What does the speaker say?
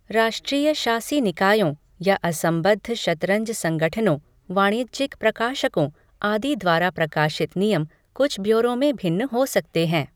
राष्ट्रीय शासी निकायों, या असंबद्ध शतरंज संगठनों, वाणिज्यिक प्रकाशकों, आदि द्वारा प्रकाशित नियम कुछ ब्योरों में भिन्न हो सकते हैं।